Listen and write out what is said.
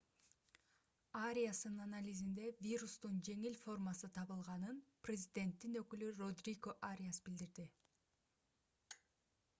ариастын анализинде вирустун жеңил формасы табылганын президенттин өкүлү родриго ариас билдирди